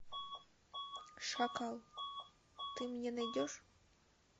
шакал ты мне найдешь